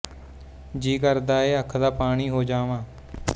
ਜੀਅ ਕਰਦਾ ਹੈ ਅੱਖ ਦਾ ਪਾਣੀ ਹੋ ਜਾਵਾਂ